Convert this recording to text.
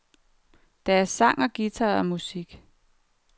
Der er sang og guitarmusik.